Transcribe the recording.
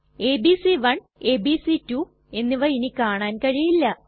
ABC one ABC two എന്നിവ ഇനി കാണാൻ കഴിയില്ല